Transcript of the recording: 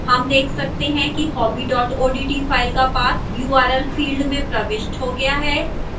हम देख सकते हैं कि hobby odt file का path url field में प्रविष्ट हो गया है